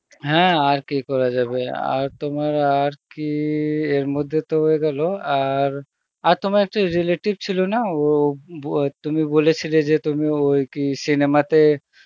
হ্যাঁ আর কি করা যাবে আর তোমার আর কি এর মধ্যে তো হয়ে গেল আর, আর তোমার একটা relative ছিল না ও বো তুমি বলেছিলে যে তুমি ওই কি cinema তে